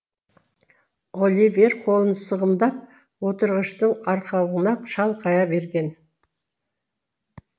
оливер қолын сығымдап отырғыштың арқалығына шалқая берген